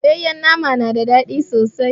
Soyayyar nama tana da ɗadi sosai.